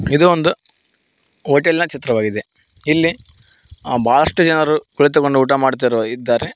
ಇದು ಒಂದು ಹೋಟೆಲ್ ನ ಚಿತ್ರವಾಗಿದೆ ಇಲ್ಲಿ ಆ ಬಹಳಷ್ಟು ಜನರು ಕುಳಿತುಕೊಂಡು ಊಟ ಮಾಡುತ್ತಿರುವ ಇದ್ದಾರೆ.